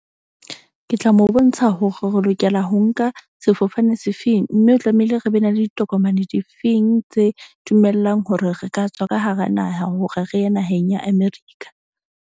Ke tla mo bontsha hore re lokela ho nka sefofane se feng. Mme o tlamehile re be na le ditokomane difeng tse dumellang hore re ka tswa ka hara naha, hore re ye naheng ya America.